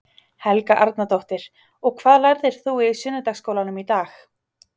Helga Arnardóttir: Og hvað lærðir þú í sunnudagaskólanum í dag?